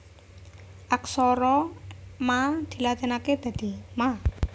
Aksara Ma dilatinaké dadi Ma